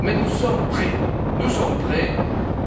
Mais nous sommes prêts